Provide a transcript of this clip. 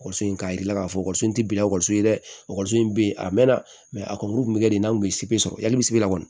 in k'a jir'i la k'a fɔ tɛ bila ɔkɔliso ye dɛ ekɔliso in bɛ yen a mɛn na a kɔ tun bɛ kɛ de n'a tun ye sɔrɔ yan la kɔni